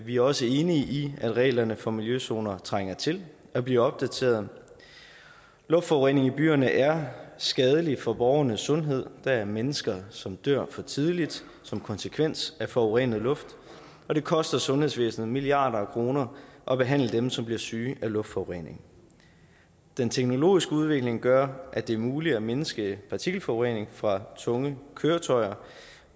vi er også enige i at reglerne for miljøzoner trænger til at blive opdateret luftforureningen i byerne er skadelig for borgernes sundhed der er mennesker som dør for tidligt som konsekvens af forurenet luft og det koster sundhedsvæsenet milliarder af kroner at behandle dem som bliver syge af luftforureningen den teknologiske udvikling gør at det er muligt at mindske partikelforureningen fra tunge køretøjer